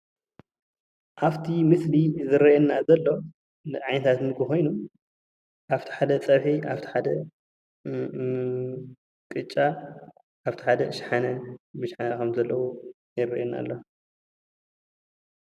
ኣብቲ ምስሊ ዝረአየና ዘሎ ዓይነታት ምግቢ ኮይኑ ኣብቲ ሓደ ፀብሒ ኣብቲ ሓደ ቅጫ ኣብቲ ሓደ ሸሓነ ብሸሓነ ከም ዘለዎ ይረአየና ኣሎ፡፡